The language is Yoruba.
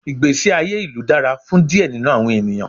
Igbesi aye ilu dara fun diẹ ninu awọn eniyan